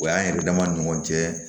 O y'an yɛrɛ dama ni ɲɔgɔn cɛ